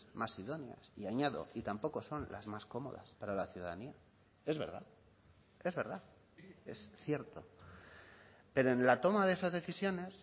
más idóneas y añado y tampoco son las más cómodas para la ciudadanía es verdad es verdad es cierto pero en la toma de esas decisiones